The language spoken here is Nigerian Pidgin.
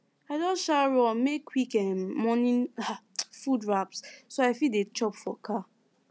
i just um run make quick um morning um food wraps so i fit dey chop for car